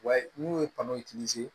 Wa n'u ye